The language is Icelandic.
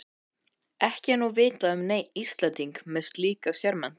Ekki er nú vitað um neinn Íslending með slíka sérmenntun.